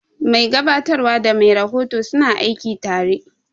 Mai gabatarwa da mai rahoto suna aiki tare.